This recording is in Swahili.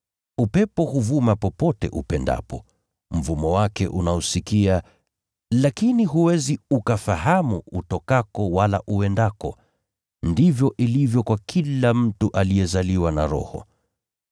Upepo huvuma popote upendapo. Mvumo wake unausikia lakini huwezi ukafahamu utokako wala uendako. Ndivyo ilivyo kwa kila mtu aliyezaliwa na Roho.”